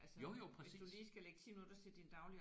Jo jo præcis